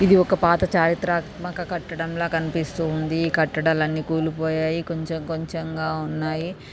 ఇది ఒక పాత చారిత్రాత్మక కట్టడంలా కనిపిస్తూ ఉంది ఈ కట్టడాలు అన్ని కూలిపోయాయి కొంచెం కొంచెంగా ఉన్నాయి.